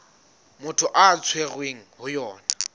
motho a tshwerweng ho yona